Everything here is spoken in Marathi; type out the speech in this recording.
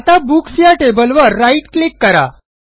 आता बुक्स या टेबलवर राईट क्लिक करा